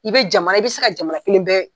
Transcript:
I bɛ jamana i bɛ se ka jamana kelen bɛɛ